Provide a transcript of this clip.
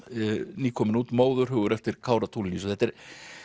nýkomin út Móðurhugur eftir Kára Tulinius þetta er